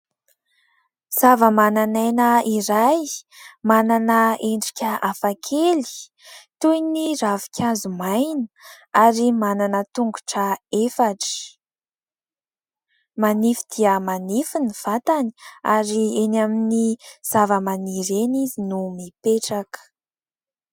Zavamananaina iray manana endrika hafakely toy ny ravinkazo maina ary manana tongotra efatra. Manify dia manify ny vatany ary eny amin'ny zava-maniry eny izy no mipetraka.